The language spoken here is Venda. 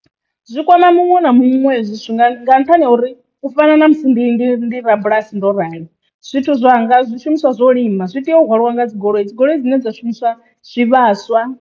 Zwi kwama muṅwe na muṅwe hezwi zwithu nga nṱhani ha uri u fana na musi ndi ndi ndi rabulasi ndo rali, zwithu zwa nga zwishumiswa zwo lima zwi tea u hwaliwa nga dzigoloi dzi goloi dzine dza shumiswa zwivhaswa.